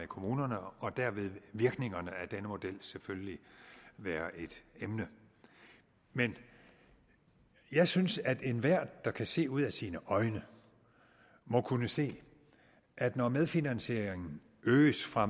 kommunerne og der vil virkningerne af denne model selvfølgelig være et emne men jeg synes at enhver der kan se ud af sine øjne må kunne se at når medfinansieringen øges fra